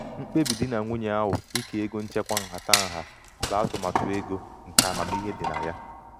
mkpebi di na nwunye ahụ ike ego nchekwa nhatanha bụ atụmatụ ego nke amamihe nke amamihe dị na ya.